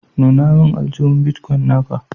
nuna min Aljuhu. " Bitcoin" na ka.